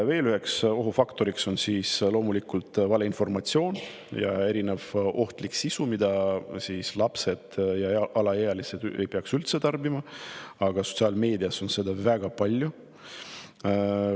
Veel üks ohufaktor on loomulikult valeinformatsioon ja erinev ohtlik sisu, mida lapsed ja alaealised ei peaks üldse tarbima, aga mida sotsiaalmeedias on väga palju.